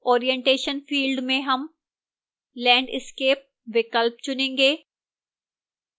orientation field में हम landscape विकल्प चुनेंगे